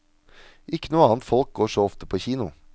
Ikke noe annet folk går så ofte på kino.